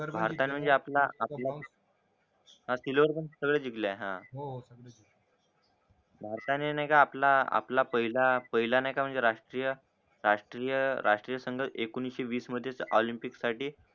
भारताने म्हणजे आपला हा वर सगळे जिंकले आहे भारताने नाय का आपला आपला पहिला पहिला नाय का म्हणजे राष्ट्रीयराष्ट्रीय राष्ट्रीयसंग एकोणीशे वीस मध्येच ऑलिम्पिकस साठी